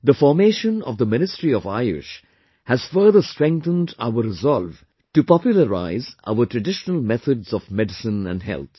The formation of the Ministry of AYUSH has further strengthened our resolve to popularise our traditional methods of medicine and health